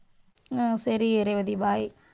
ஆஹ் சரி, ரேவதி bye.